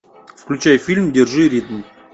включай фильм держи ритм